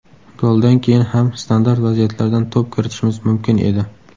Goldan keyin ham standart vaziyatlardan to‘p kiritishimiz mumkin edi.